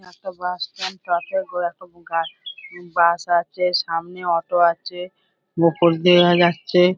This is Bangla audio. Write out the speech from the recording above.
একটা বাস স্ট্যান্ড তরফে করে একটা ব গা বাস আছে সামনে অটো আছে মুকুল দেওয়া যাচ্ছে |